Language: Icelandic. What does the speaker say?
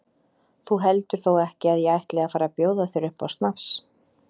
Þú heldur þó ekki að ég ætli að fara að bjóða þér upp á snafs?